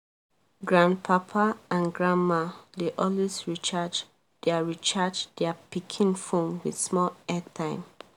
grandpapa and grandma dey always recharge their recharge their pikin phone with small airtime